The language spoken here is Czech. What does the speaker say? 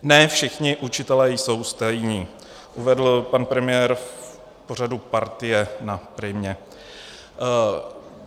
Ne všichni učitelé jsou stejní," uvedl pan premiér v pořadu Partie na Primě.